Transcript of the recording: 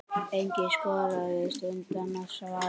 Enginn skoraðist undan að svara.